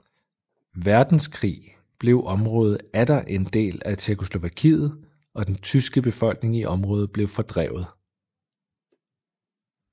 Verdenskrig blev området atter en del af Tjekkoslovakiet og den tyske befolkning i området blev fordrevet